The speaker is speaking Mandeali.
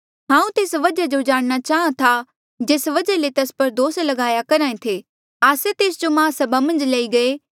हांऊँ तेस वजहा जो जाणना चाहां था जेस वजहा ले तेस पर दोस ल्गाया करहा ऐें थे हांऊँ तेस जो माहसभा मन्झ लई गये